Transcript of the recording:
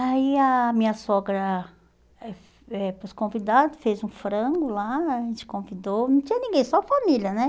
Aí a minha sogra eh eh para os convidados, fez um frango lá, a gente convidou, não tinha ninguém, só a família, né?